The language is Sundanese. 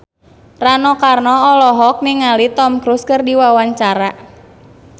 Rano Karno olohok ningali Tom Cruise keur diwawancara